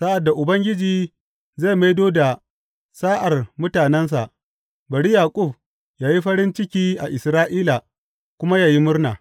Sa’ad da Ubangiji zai maido da sa’ar mutanensa, bari Yaƙub yă yi farin ciki Isra’ila kuma yă yi murna!